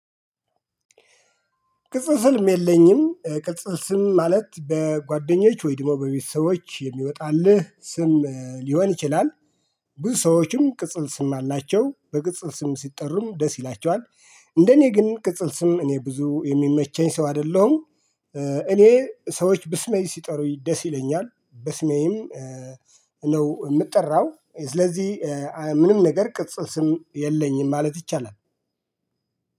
ቅጽል ስም የለኝም። ቅጽል ስም ማለት በጓደኞች ወይድሞ በቤተሰቦች የሚወጣልህ ስም ሊሆን ይችላል። ብዙ ሰዎችም ቅጽል ስም አላቸው። በቅጽል ስም ሲጠሩም ደስ ይላቸዋል። እንደኔ ግን ቅጽል ስም እኔ ብዙ የሚመቸኝ ሰው አይደለሁም። እኔ ሰዎች በስሜ ሲጠሩኝ ደስ ይለኛል። በስሜም ነው የምጠራው። ስለዚህ ምንም ነገር ቅጽም ስም የለኝም ማለት ይቻላል።